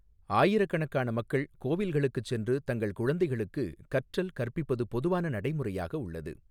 ஆயிரக்கணக்கான மக்கள் கோவில்களுக்குச் சென்று தங்கள் குழந்தைகளுக்கு கற்றல் கற்பிப்பது பொதுவான நடைமுறையாக உள்ளது.